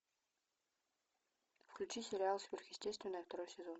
включи сериал сверхъестественное второй сезон